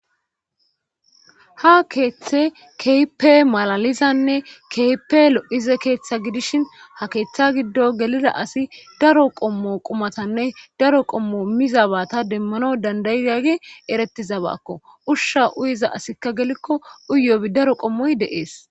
ha keeththe keehippe malalizanne kehippe lo7ize keeththa gidishin ha keeththa giddo gelida asi daro qommo qumatanne daro qommo mizabata demmana dandaidage eretiza baakko ushsha uyiza asikka gelikko uyobi daro qommoy deees